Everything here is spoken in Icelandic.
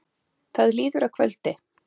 Það líður að kvöldi.